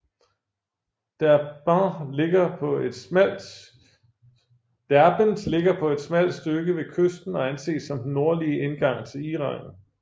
Derbent ligger på et smalt stykke ved kysten og anses som den nordlige indgang til Iran